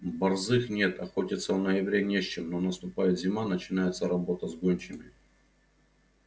борзых нет охотиться в ноябре не с чем но наступает зима начинается работа с гончими